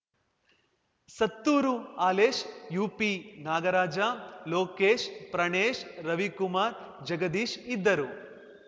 ಸತ್ತೂರು ಹಾಲೇಶ್‌ ಯುಪಿನಾಗರಾಜ ಲೋಕೇಶ್‌ ಪ್ರಾಣೇಶ್‌ ರವಿಕುಮಾರ್‌ ಜಗದೀಶ್‌ ಇದ್ದರು